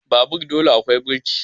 Babur dole akwai birki